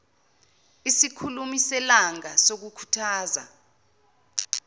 isikhulumi selanga sokukhuthaza